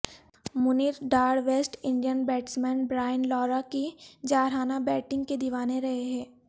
Munir Dar West Indian batsman Brian Lara کی جارحانہ batting کے دیوانے رہے ہیں